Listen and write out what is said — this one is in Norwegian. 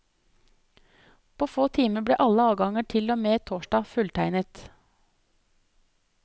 På få timer ble alle avganger til og med torsdag fulltegnet.